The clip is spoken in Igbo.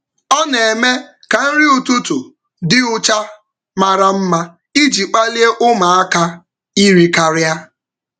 Ọ na-eme ka nri ụtụtụ um dị ụcha mara mma iji kpalie um ụmụaka iri karịa.